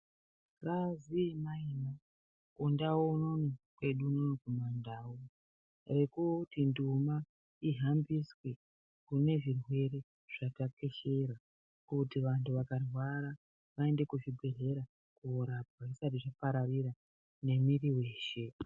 Bazi yemaina kundau unono kwedu unono kumandau ekuti nduma ihambiswe pane zvirwere zvatekeshera kuti vanthu vakarwara vaende kuzvibhedhlera korapwa zvisati zvaparira nemwiri weshe.